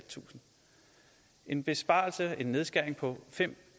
en besparelse en nedskæring på fem